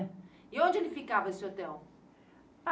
E onde ele ficava, esse hotel?